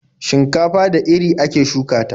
Shinkafa da iri ake shuka ta.